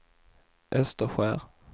Österskär